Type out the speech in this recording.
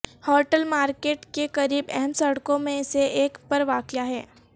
hotel market کے قریب اہم سڑکوں میں سے ایک پر واقع ہے